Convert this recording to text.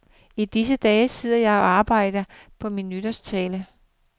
I disse dage sidder jeg og arbejder på min nytårstale.